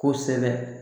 Kosɛbɛ